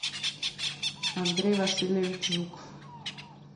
андрей васильевич жуков